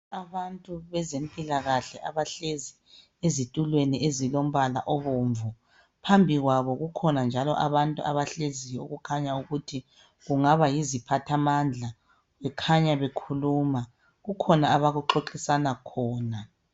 Abantu bezempilakahle abahlezi ezitulweni ezilombala obomvu phambi kwabo kukhona njalo abantu abahleziyo okukhanya ukuthi kungaba yiziphathamandla bekhanya bekhuluma kukhona abaxoxisana khona